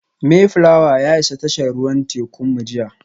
Mayflower ya isa tashar ruwan tekunmu jiya